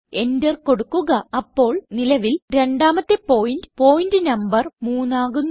enter കൊടുക്കുക അപ്പോൾ നിലവിൽരണ്ടാമത്തെ പോയിന്റ് പോയിന്റ് നംബർ 3 ആകുന്നു